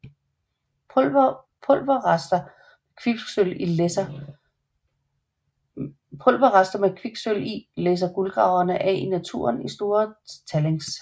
Pulverrester med kviksølv i læsser guldgraverne af i naturen i store tallings